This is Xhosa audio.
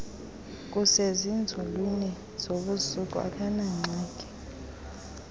kusezinzulwini zobusuku akanangxaki